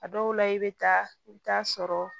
A dɔw la i bɛ taa i bɛ taa sɔrɔ